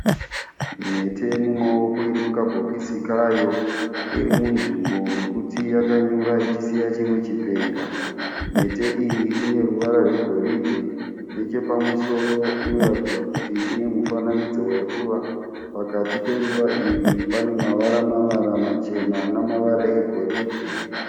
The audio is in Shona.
Mhete yemumaoko iri mukabhokisi kayo. Iri munzvimbo mekuti yakanyura ichisiya chimwe chipenga. Mhete iyi ine ruvara rwegoridhe. Nechepamusoro inoratidza kuti ine mufananidzo weruva. Pakati peruva iri pane mavara-mavara machena namavara egoridhe.